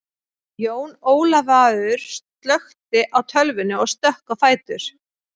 Jón Ólafaur slökkti á tölvunni og stökk á fætur.